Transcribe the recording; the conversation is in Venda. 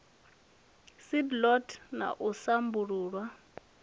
seed lot na u sambuluswa